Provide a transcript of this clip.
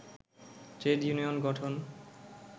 trade union গঠন